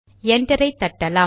என்டரை தட்டலாம்